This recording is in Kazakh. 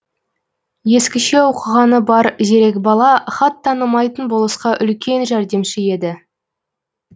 ескіше оқығаны бар зерек бала хат танымайтын болысқа үлкен жәрдемші еді